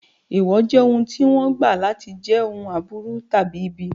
Èèwọ̀ jẹ́ ohun tí wọ́n gbà láti jẹ́ ohun aburú tàbí ibi.